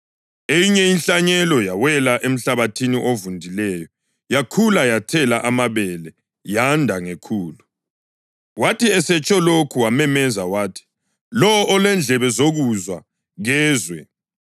Eyinye inhlanyelo yawela emhlabathini ovundileyo. Yakhula yathela amabele, yanda ngekhulu.” Wathi esetsho lokhu wamemeza wathi, “Lowo olendlebe zokuzwa, kezwe.”